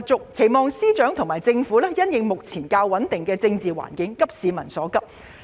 我們希望司長和政府能在目前較穩定的政治環境下急市民所急。